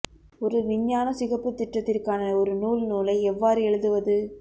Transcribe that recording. ஒரு விஞ்ஞான சிகப்பு திட்டத்திற்கான ஒரு நூல் நூலை எவ்வாறு எழுதுவது